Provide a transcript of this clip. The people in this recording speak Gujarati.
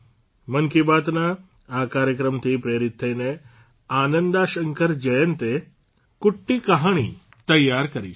મન કી બાતના આ કાર્યક્રમથી પ્રેરિત થઇને આનંદા શંકર જયંતે કુટ્ટી કહાણી તૈયાર કરી છે